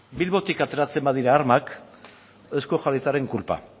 bilbotik ateratzen badira armak eusko jaurlaritzaren kulpa